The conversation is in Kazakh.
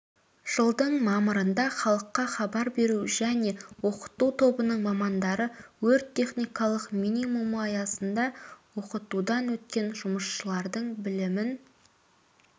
жылдың мамырында халыққа хабар беру және оқыту тобының мамандары өрт-техникалық минимумы аясында оқытудан өткен жұмысшылардың білімін